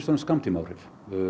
fremst skammtímaáhrif